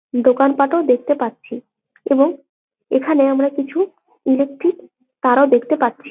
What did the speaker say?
দোকানপাঠও দেখতে পাচ্ছি এবং এখানে আমরা কিছু ইলেক্ট্রিক তারও দেখতে পাচ্ছি।